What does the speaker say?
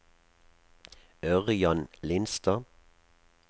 Ørjan Lindstad